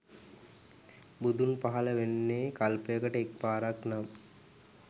බුදුන් පහල වෙන්නේ කල්පයකට එක පාරක් නම්